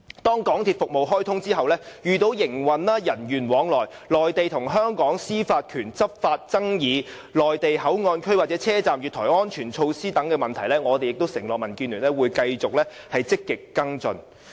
若高鐵服務開通後遇到營運、人員往來、內地與香港司法管轄權的執法爭議、內地口岸區或車站月台安全措施等問題，民建聯承諾會繼續積極跟進。